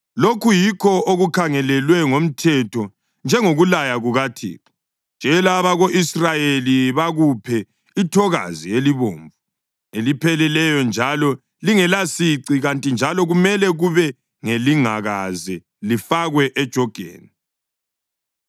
“Lokhu yikho okukhangelelwe ngomthetho njengokulaya kukaThixo: Tshela abako-Israyeli bakuphe ithokazi elibomvu elipheleleyo njalo lingelasici kanti njalo kumele kube ngelingakaze lifakwe ejogeni.